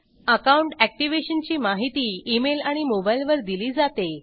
account activation ची माहिती email आणि मोबाइल वर दिली जाते